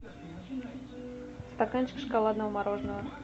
стаканчик шоколадного мороженого